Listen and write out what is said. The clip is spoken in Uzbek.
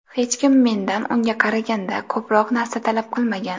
Hech kim mendan unga qaraganda ko‘proq narsa talab qilmagan.